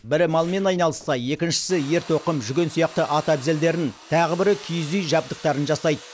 бірі малмен айналысса екіншісі ер тоқым жүген сияқты ат әбзелдерін тағы бірі киіз үй жабдықтарын жасайды